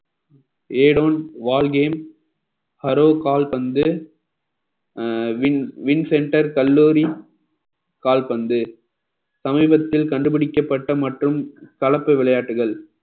a don wall game harrow கால்பந்து அஹ் win win centre கல்லூரி கால்பந்து சமீபத்தில் கண்டுபிடிக்கப்பட்ட மற்றும் கலப்பு விளையாட்டுகள்